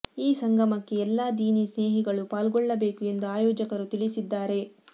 ಈ ಸಂಗಮಕ್ಕೆ ಎಲ್ಲಾ ದೀನಿ ಸ್ನೇಹಿಗಳು ಪಾಲ್ಗೊಳ್ಳಬೇಕು ಎಂದು ಆಯೋಜಕರು ತಿಳಿಸಿದ್ದಾರೆ